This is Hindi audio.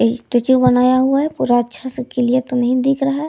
स्टेचू बनाया हुआ है पूरा अच्छा से क्लियर तो नहीं दिख रहा है।